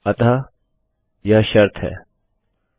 अतः यह कन्डिशनconditionशर्तहै